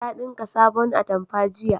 Ta dinka sabon atamfa jiya